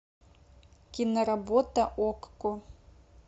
киноработа окко